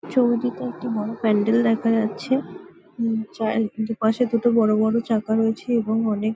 ছবিটিতে একটি বড় প্যান্ডেল দেখা যাচ্ছে যার দু পাশে দুটো বড় বড় চাকা রয়েছে এবং অনেক।